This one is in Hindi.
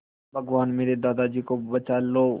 भगवान मेरे दादाजी को बचा लो